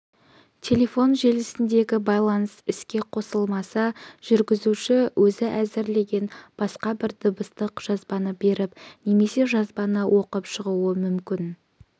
телефон желісіндегі байланыс іске қосылмаса жүргізуші өзі әзірлеген басқа бір дыбыстық жазбаны беріп немесе жазбаны оқып шығуы мүмкін